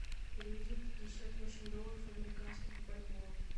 переведи пятьдесят восемь долларов американских в бальбоа